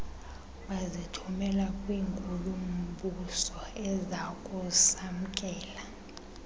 bazithumela kwinkulu mbusoezakusamkela